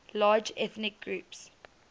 largest ethnic groups